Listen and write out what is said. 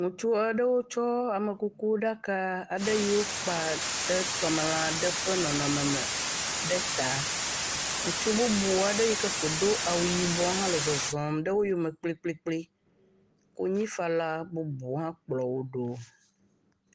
Ŋutsu aɖewo tsɔ amekukuɖaka aɖe yi wokpa ɖe tɔmelã aɖe ƒe nɔnɔme me ɖe ta. Ŋutsu bubu aɖe yike ko do awu yibɔ hã le zɔzɔm ɖe wo yome kplikplikpli. Konyifala bubuawo hã kplɔ wo ɖo.